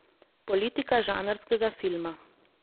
Politika žanrskega filma.